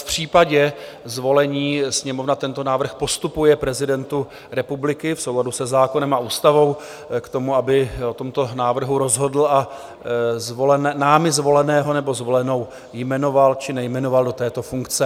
V případě zvolení Sněmovna tento návrh postupuje prezidentu republiky v souladu se zákonem a ústavou k tomu, aby o tomto návrhu rozhodl a námi zvoleného nebo zvolenou jmenoval či nejmenoval do této funkce.